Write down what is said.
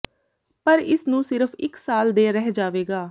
ਪਰ ਇਸ ਨੂੰ ਸਿਰਫ ਇੱਕ ਸਾਲ ਦੇ ਰਹਿ ਜਾਵੇਗਾ